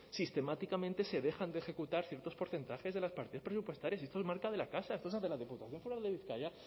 sistemáticamente se dejan de ejecutar ciertos porcentajes de las partidas presupuestarias y esto es marca de la casa esto se hace en la diputación foral de bizkaia